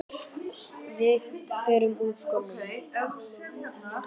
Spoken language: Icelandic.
Við förum úr skónum.